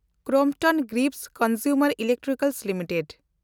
Crompton Greaves Consumer Electrical limited